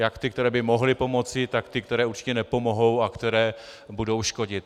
Jak ty, které by mohly pomoci, tak ty, které určitě nepomohou a které budou škodit.